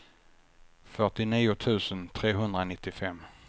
fyrtionio tusen trehundranittiofem